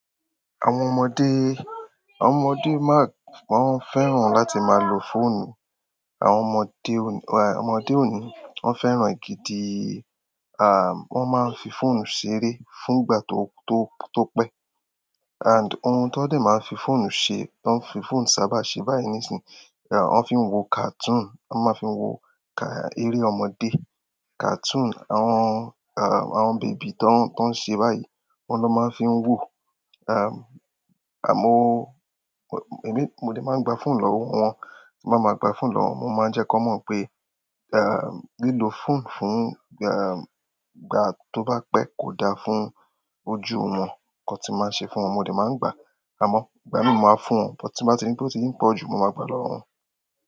Àwọn ọmọdé, àwọn ọmọdé má-- wọ́n fẹ́ràn láti máa lo fóònù. Àwọn ọmọdé òní, àwọn ọmọdé òní wọ́n fẹ́ràn gidi, ah, wọ́n máa ń fi fóònù ṣeré fún ìgbà tó, tó, tó pẹ́. And ohun tán dẹ̀ má ń fi fóònù se, tán fi fóònù sábà se báyìí nísìí, wón fi wo cartoon, wọ́n máa fí wo eré ọmọdé, cartoon, àwọn bèbí tí wọ́n se báyìí, ohun ni wọ́n máa fi wò. Àmó emi mo ni máa ń gba fóònù lọ́wọ́ wọn, tí màá máa gba fóònù lọ́wọ́ wọn mo máa ń jẹ́ kí wọ́n mọ̀ pé, ah, lílo fóònù fún gbà, ìgbà tó bá pẹ́ kò da fún ojú wọn. Ìkan tí màá ṣe fún wọn mo de máa ń gbà á, àmọ̀ ìgbà mìíràn máa fún wọn. Bó tí bá ti ní, bó tí í ti ń pọ̀ jù mo máa gba lọ́wọ́ wọn.